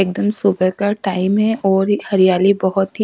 एक दम सुभे का टाइम हे और ये हरियाली बहोत ही--